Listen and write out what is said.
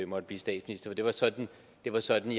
måtte blive statsminister det var sådan var sådan